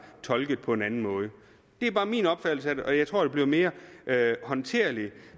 tolket på en anden måde det er bare min opfattelse af det jeg tror det bliver mere håndterligt